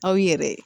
Aw yɛrɛ